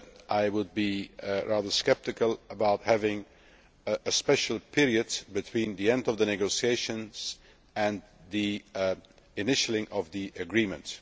I would be rather sceptical about having a special period between the end of the negotiations and the initialling of the agreement.